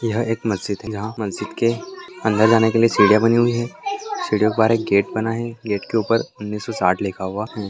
यह एक मस्जिद है जहा मस्जिद के अंदर जाने के लिए सिडिया बनी हुई है सीडियोंके बाहर एक गेट बना हुवा है गेट के ऊपर उन्नीस सो साठ लिखा हुआ है।